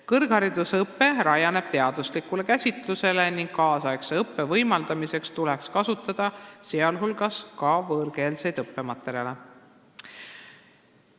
Kõrgharidusõpe rajaneb teaduslikul käsitlusel ning nüüdisaegse õppe võimaldamiseks tuleks kasutada ka võõrkeelseid õppematerjale.